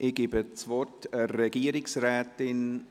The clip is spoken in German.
Ich gebe das Wort der Regierungsrätin.